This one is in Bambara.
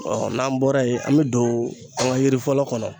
n'an bɔra yen an bi don an ka yiri fɔlɔ kɔnɔ